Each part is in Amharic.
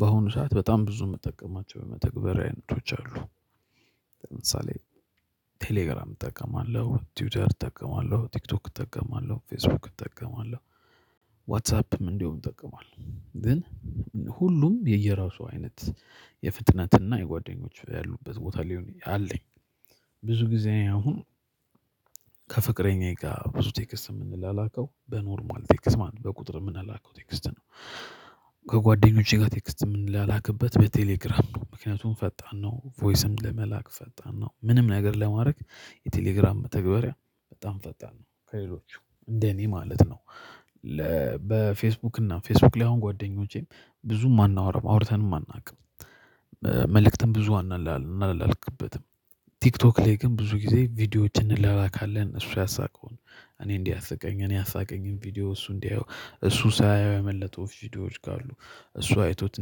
በአሁኑ ሰዓት በጣም ብዙ የምጠቀማቸው የመተግበሪያ አይነቶች አሉ። ለምሳሌ ቴሌግራም እጠቀማለሁ ቲውተር እጠቀማለሁ ቲክቶክ እጠቀማለሁ ፌስቡክ እጠቀማለሁ። ዋትሳፕም እንዲሁ ይጠቀማል ግን ሁሉም የየራሱ አይነት የፍጥነትና የጓደኞች ያሉበት ቦታ ላይ ነኝ አለኝ። ብዙ ጊዜ አሁን ከፍቅረኛዬ ጋር ብዙ ቴክስት የምንላላከው በኖርማል ቴክስት ማለት ነው በቁጥር የምንላከው ቴክስት ነው። ከጓደኞቼ ጋር ቴክስት የምንላላክበት በቴሌግራም ነው ምክንያቱም ፈጣን ነው ቮይስም ለመላክ ፈጣን ነው ምንም ነገር ለማድረግ የቴሌግራም መተግባሪያ በጣም ፈጣን ነው። ከሌሎቹ እንደ እኔ ማለት ነው ለ በፌስቡክ እና ፌስቡክ ላይ አሁን ጓደኞቼም ብዙም አናወራም አውርተንም አናውቅም። መልእክትም ብዙ አናላልክበትም። ቲክቶክ ላይ ግን ብዙ ጊዜ ቪዲዮዎችን እንላላካለን እሱ ያሳቀውን እኔ እንዲህ አሳቀኝ እኔ አሳቀኝም ቪዲዮ እሱ እንዲያው እሱ ሳያየው ያመለጡ ቪዲዮዎች ካሉ እሱ አይቶት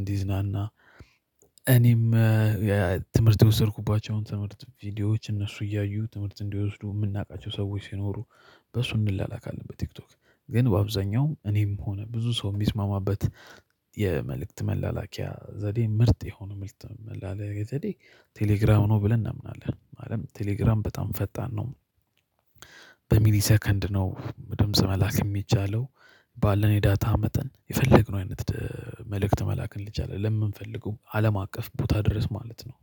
እንዲዝናና። እኔም ትምህርት የወሰድኩባቸውን ትምህርት ቪዲዮዎች እነሱ እያዩ ትምህርት እንዲወስዱ የምናውቃቸው ሰዎች ሲኖሩ በሱ እንላላካለን። በቲክቶክ ግን በአብዛኛው እኔም ሆነ ብዙ ሰውም ቢስማማበት የመልእክት መላላኪያ ዘዴ ምርጥ የሆኑ ምስጥር መላላኪያ ዘዴ ቴሌግራም ነው ብለን እናምናለን አለም ቴሌግራም በጣም ፈጣን ነው። በሚሊ ሰከንድ ነው ድምጽ መላክ የሚቻለው። ባለን የዳታ መጠን የፈለግነው አይነት መልእክት መላክን ልጅ አለ ለምንፈልገው አለም አቀፍ ቦታ ድረስ ማለት ነው